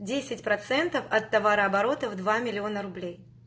десять процентов от товарооборота в два миллиона рублей